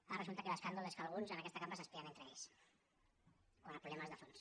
ara resulta que l’escàndol és que alguns en aquesta cambra s’espien entre ells quan el problema és de fons